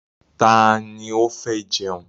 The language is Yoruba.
Ta ni ó fẹ́ jẹun?